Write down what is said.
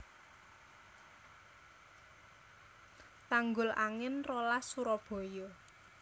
Tanggulangin rolas Surabaya